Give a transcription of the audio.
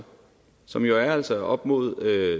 som jo altså er på op mod